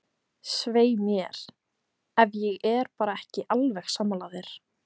Svei mér, ef ég er bara ekki alveg sammála þér.